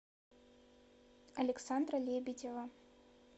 александра лебедева